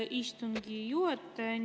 Aitäh, austatud istungi juhataja!